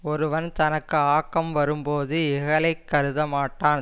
ஒருவன் தனக்கு ஆக்கம் வரும்போது இகலைக் கருத மாட்டான்